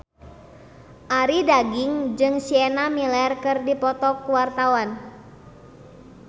Arie Daginks jeung Sienna Miller keur dipoto ku wartawan